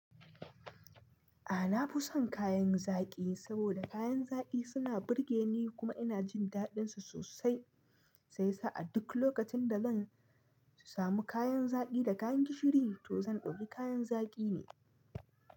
A na fi son kayan zaƙi, saboda kayan zaƙi suna burge ni kuma ina jin daɗinsu sosai. Sai sa'ad duk lokacin da zan samu kayan zaƙi da kayan gishiri, to zan ɗauki kayan zaƙi ne.